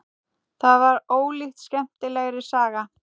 Það var ólíkt skemmtilegri saga.